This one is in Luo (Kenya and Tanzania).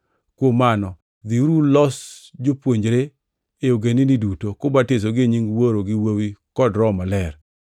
Kuom mano, dhiuru ulos jopuonjre e ogendini duto, kubatisogi e nying Wuoro gi Wuowi kod Roho Maler,